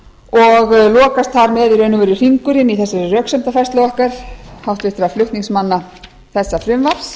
og lokast þar með í raun og veru hringurinn í þessari röksemdafærslu okkar háttvirtra flutningsmanna þessa frumvarps